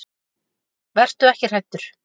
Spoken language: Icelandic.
Vertu ekki hræddur.